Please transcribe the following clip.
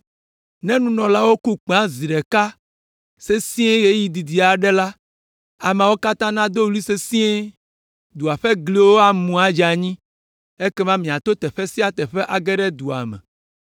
Ne nunɔlaawo ku kpẽawo zi ɖeka sesĩe ɣeyiɣi didi aɖe la, ameawo katã nado ɣli sesĩe. Dua ƒe gliwo amu adze anyi ekema miato teƒe sia teƒe age ɖe dua me.”